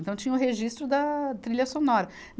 Então tinha o registro da trilha sonora.